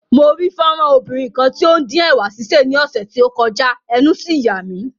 Mo rí fọ́nrán obìnrin kan tí ó ń dín ẹ̀wà sísè ní ọ̀sẹ̀ tí ó kọjá, ẹnu sì yà mí.